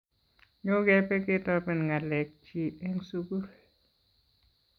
nyo kebe ketoben ngalek chi eng sukul.